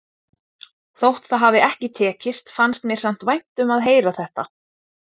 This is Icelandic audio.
Þótt það hafi ekki tekist fannst mér samt vænt um að heyra þetta.